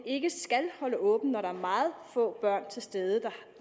ikke skal holde åbent når der er meget få børn til stede